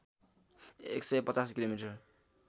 १५० kilometre